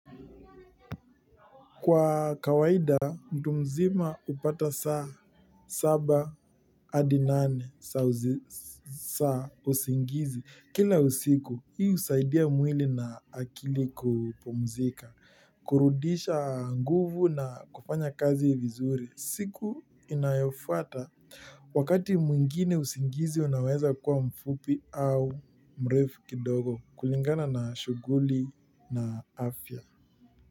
Kwa kawaida mtu mzima hupata saa saba hadi nane za usingizi kila usiku. Hii husaidia mwili na akili kupumzika. Kurudisha nguvu na kufanya kazi vizuri. Siku inayofuata wakati mwingine usingizi unaweza kuwa mfupi au mrefu kidogo kulingana na shughuli na afya.